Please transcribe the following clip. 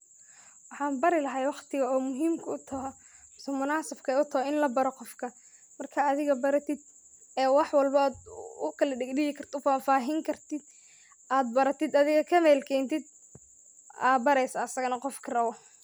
Waxan bari lahay waqtiga oo muhiim utoho oo munasabke horta waa in labaro qofka, adiga berated ee wax walbo ad kala dhidhihi kartid ad faafahin kartid ad baratid adiga kamel keentid aa bareysa asagana qofki rabo